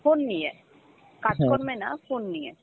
phone নিয়ে, কাজকর্মে না phone নিয়ে